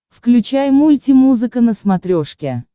включай мультимузыка на смотрешке